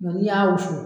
Nka n'i y'a wusu